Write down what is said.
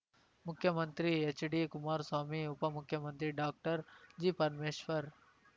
ಮುಖ್ಯಮಂತ್ರಿ ಹೆಚ್‌ಡಿಕುಮಾರಸ್ವಾಮಿ ಉಪಮುಖ್ಯಮಂತ್ರಿ ಡಾಕ್ಟರ್ಜಿ ಪರಮೇಶ್ವರ್‌